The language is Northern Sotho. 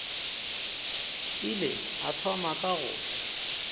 ile a thoma ka go